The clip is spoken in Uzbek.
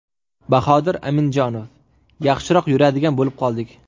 Bahodir Amindjanov: Yaxshiroq yuradigan bo‘lib qoldik.